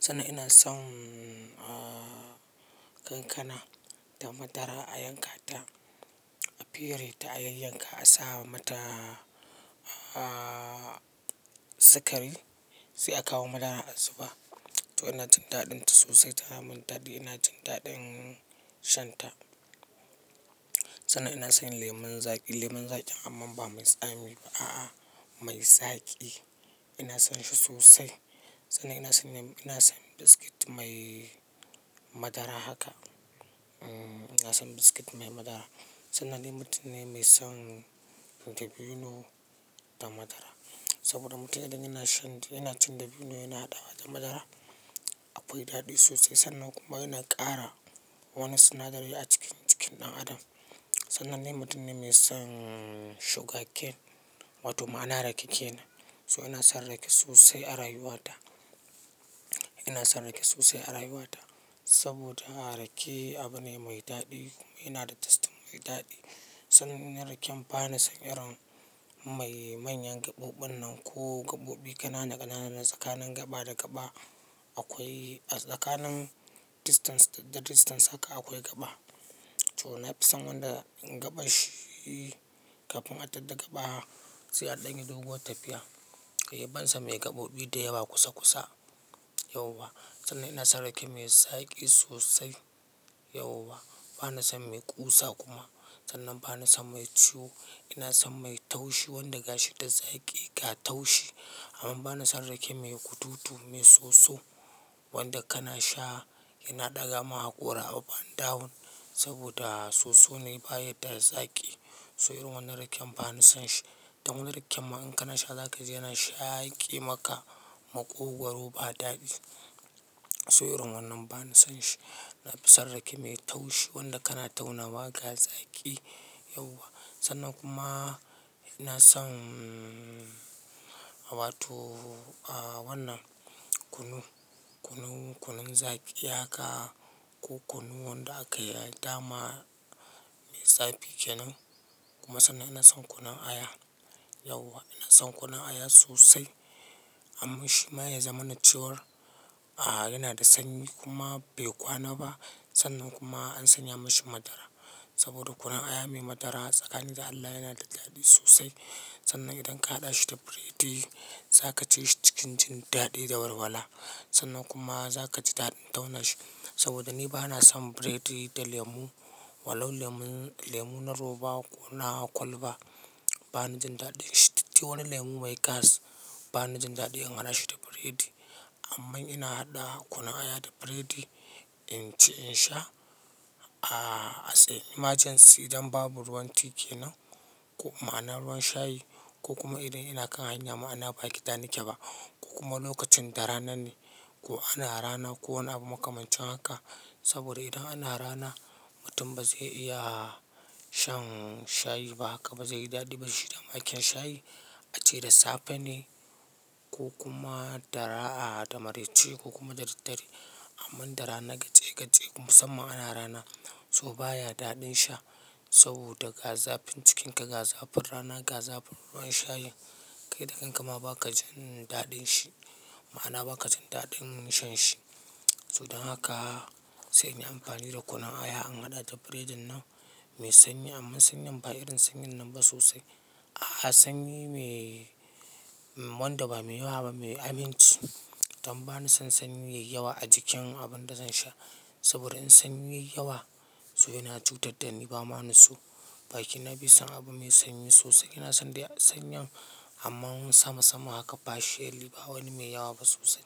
sannan ina son kankana da madara a yanka ta, a fire ta a yayyanka a sa mata sikari sai a kawo madara a zuba. To ina jin daɗin ta sosai tana mun daɗi, ina jin daɗin shan ta. Sannan ina son lemon zaƙi, lemon zaƙi amma ba mai tsami ba a'a mai zaƙi. Ina son shi sosai. Sannan ina son, ina son biskit mai madara haka. Ina son biskit mai madara. Sannan ni mutum ne mai son dabino da madara. Saboda mutum idan yana shan, yana cin dabino yana haɗa wa ta madara akwai daɗi sosai. Sannan kuma yana ƙara wani sinadari a cikin, cikin ɗan adam. Sannan ni mutum ne mai son shugaken, watuma ana rake kenan. So ina son rake sosai a rayuwa ta. Ina son rake sosai a rayuwa ta. Saboda rake abu ne mai daɗi kuma yana da tasti mai daɗi. Sannan raken ba na son irin mai manyan gaɓoɓin nan ko gaɓoɓi ƙanana ƙanana na tsakanin gaba da gaba. Akwai tsakanin distance da distance haka akwai gaba. To na fi son wanda in gaba shi kafin a je daga gaba sai a ɗanyi doguwar tafiya. Kai yabansa mai gaɓoɓi da yawa kusa kusa, yauwa. Sannan ina son rake mai zaƙi sosai, yauwa. Ba na son mai ƙusa kuma. Sannan ba na son mai ciwo. Ina son mai taushi wanda gashi da zaƙi ka taushi. Amma ba na son rake mai kututu mai soso wanda kana sha yana ɗaga ma hakora a up and down. Saboda soso ne baya da zaƙi. To irin wannan raken ba ni son shi. Dan wannan raken ma in kana sha zaka ji yana shaƙi maka maƙogwaro ba daɗi. So irin wannan ba na son shi. Na fi son rake mai taushi wanda kana tauna wa ga zaƙi, yauwa. Sannan kuma ina son a wato a wannan kunu, kunun zaƙi haka ko kunu wanda aka yi dama mai zaƙi kenan. Kuma sannan ina son kunun aya, yauwa. Ina son kunun aya sosai. Amma shi ma ya zama na ciwon a'a yana da sanyi kuma bai kwana ba. Sannan kuma an sanya mashi madara. Saboda kunun aya mai madara tsakanin da Allah yana da daɗi sosai. Sannan idan ka haɗa shi da biredi za ka ji shi cikin jin daɗi da walwala. Sannan kuma za ka ji daɗin tauna shi. Saboda ni ba na son biredi da lemu. Wallau, lemu na roba ko na kwalba ba na jin daɗin shi. To wani lemu mai gas ba na jin daɗin in haɗa shi da biredi. Amma ina haɗa kunun aya da biredi in ci in sha as a emergency idan babu ruwan ti ke nan ko ma ana ruwan shayi ko kuma idan ina kan hanya ma ana ba gida nike ba ko kuma lokacin da rana ne ko ana rana ko wani abu makamancin haka. Saboda idan ana rana mutum ba zai iya shan shayi ba haka ba zai yi daɗi ba shi da makin shayi. A ce da safe ne ko kuma da marace ko kuma dare tare. Amma da rana gatse gatse musamman ana rana so baya daɗin sha saboda gaza fin cikinka gaza fin rana gaza fin ruwan shayin kai da kanka ma ba ka jin daɗin shi. Ma'ana ba ka jin daɗin shan shi. To don haka sai in yi amfani da kunun aya an haɗa da biredin nan mai sanyi amma sanyan ba irin sanyan nan ba sosai. A'a sanyi mai wanda ba mai yawa ba mai aminci. Dan ba na son sanyi yayi yawa a jikin abin da zan sha. Saboda in sanyi yayi yawa so ina cutar da ni ba ma'ana so. Baki na bai son abu mai sanyi sosai. Ina son dai sanyin amman sama sama haka partially ba wani mai yawa ba sosai.